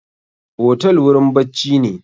Otel wurin bacci ne